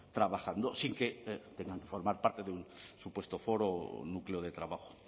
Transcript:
trabajando sin que tengan formar parte de un supuesto foro o núcleo de trabajo